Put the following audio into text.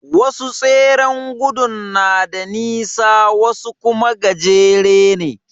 Wasu tseren gudun na da nisa wasu kuma gajere ne.